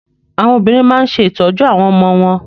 Àwọn obìnrin máa ń ṣe ìtọ́jú àwọn ọmọ wọn.